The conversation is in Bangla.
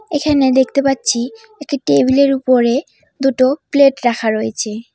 এখানে দেখতে পাচ্ছি একটা টেবিল -এর উপরে দুটো প্লেট রাখা রয়েছে।